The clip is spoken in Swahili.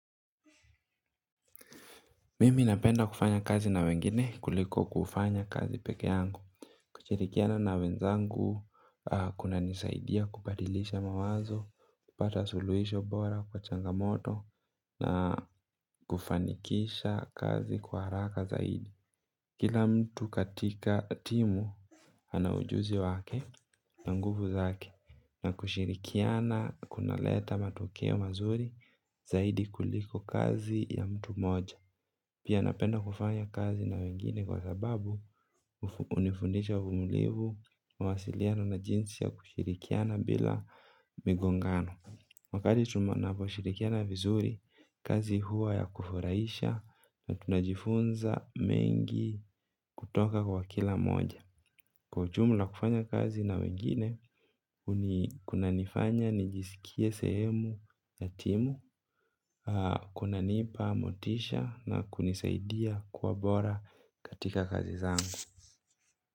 Mimi napenda kufanya kazi na wengine kuliko kufanya kazi pekee yangu. Kushirikiana na wenzangu kunanisaidia kubadilisha mawazo, kupata suluisho bora kwa changamoto na kufanikisha kazi kwa haraka zaidi. Kila mtu katika timu ana ujuzi wake na nguvu zake. Na kushirikiana kunaleta matukio mazuri zaidi kuliko kazi ya mtu moja. Pia napenda kufanya kazi na wengine kwa sababu hunifundisha umulivu. Mwasiliano na jinsi ya kushirikiana bila migongano. Wakati tunaposhirikiana vizuri, kazi huwa ya kufurahisha na tunajifunza mengi kutoka kwa kila moja. Kwa ujumla kufanya kazi na wengine, kunanifanya, nijisikie sehemu ya timu, kunanipa, motisha na kunisaidia kuwa bora katika kazi zangu.